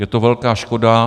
Je to velká škoda.